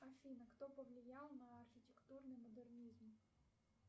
афина кто повлиял на архитектурный модернизм